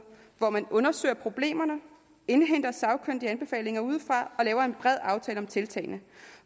hvor man undersøger problemerne indhenter sagkyndige anbefalinger udefra og laver en bred aftale om tiltagene